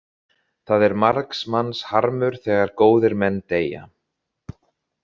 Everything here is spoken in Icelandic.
Það er margs manns harmur þegar góðir menn deyja.